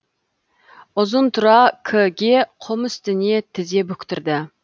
ұзынтұра к ге құм үстіне тізе бүктірді